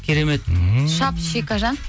керемет ммм шап шекажан